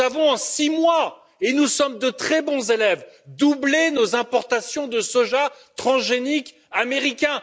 Nous avons en six mois car nous sommes de très bons élèves doublé nos importations de soja transgénique américain.